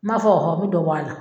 N b'a fɔ mi dɔ bɔ a la